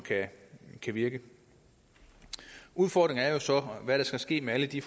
kan virke udfordringen er jo så hvad der skal ske med alle de